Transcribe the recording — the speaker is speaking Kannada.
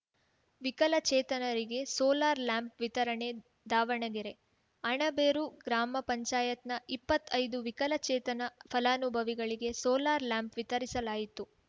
ವಿಕಲಚೇತನರಿಗೆ ಸೋಲಾರ್‌ ಲ್ಯಾಂಪ್‌ ವಿತರಣೆ ದಾವಣಗೆರೆ ಅಣಬೇರು ಗ್ರಾಮ ಪಂಚಾಯತ್ ನ ಇಪ್ಪತ್ ಐದು ವಿಕಲಚೇತನ ಫಲಾನುಭವಿಗಳಿಗೆ ಸೋಲಾರ್‌ ಲ್ಯಾಂಪ್‌ ವಿತರಿಸಲಾಯಿತು